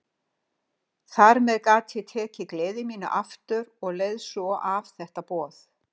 Þar með gat ég tekið gleði mína aftur og leið svo af þetta boð.